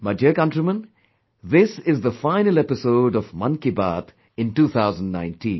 My dear countrymen, this is the final episode of "Man ki Baat" in 2019